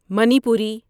Manipuri